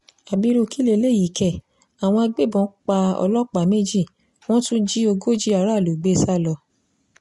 ábírú kí lélẹ́yìí ké àwọn agbébọn pa ọlọ́pàá méjì wọ́n tún jí ogójì aráàlú gbé sá lọ